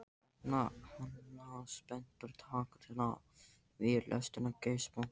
Opna hana spenntur, taka til við lesturinn, geispa.